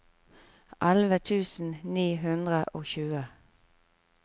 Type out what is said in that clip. elleve tusen ni hundre og tjue